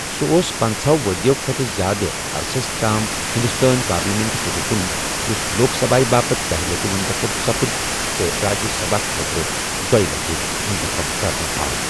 سُہ اوس پنٛژہو ؤرِیو کھۄتہٕ زیادٕ عرسس تام ہِنٛدُستٲنۍ پالیٚمٮ۪نٛٹُک رُکُن، یُس لوک سبھایہ باپت دَہہِ لٹہِ مٗنتخب سپٗد تہٕ راجیہ سبھایہ خٲطرٕ دۄیہِ لتہِ مُنتٔخٕب کرنہٕ آو۔